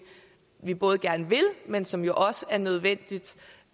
vi både gerne vil men som jo også er nødvendigt